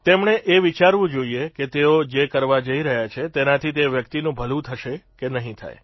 તેમણે એ વિચારવું જોઇએ કે તેઓ જે કરવા જઇ રહ્યા છે તેનાથી તે વ્યક્તિનું ભલું થશે કે નહિં થાય